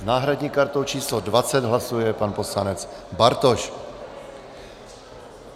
S náhradní kartou číslo 20 hlasuje pan poslanec Bartoš.